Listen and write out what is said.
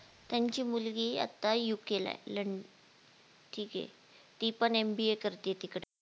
त्यांची मुलगी आत्ता UK ला लं ठीके ती पण MBA करतीय तिकडे